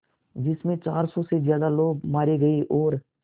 जिस में चार सौ से ज़्यादा लोग मारे गए और